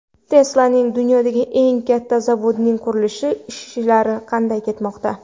Tesla’ning dunyodagi eng katta zavodining qurilish ishlari qanday ketmoqda .